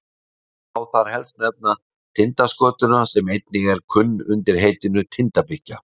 má þar helst nefna tindaskötuna sem einnig er kunn undir heitinu tindabikkja